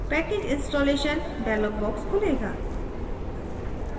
package installation dialog box खुलेगा